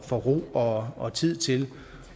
få ro og og tid til